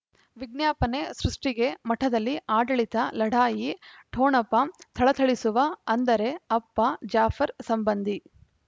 ವಿಜ್ಞಾಪನೆ ಸೃಷ್ಟಿಗೆ ಮಠದಲ್ಲಿ ಆಡಳಿತ ಲಢಾಯಿ ಠೊಣಪ ಥಳಥಳಿಸುವ ಅಂದರೆ ಅಪ್ಪ ಜಾಫರ್ ಸಂಬಂಧಿ